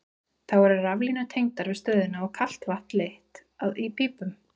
Þá eru raflínur tengdar við stöðina og kalt vatn leitt að í pípum.